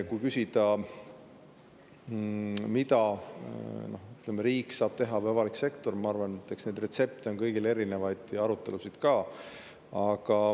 Kui küsida, mida riik või avalik sektor saab teha, siis ma arvan, et eks neid retsepte ja arutelusid on kõigil erinevaid.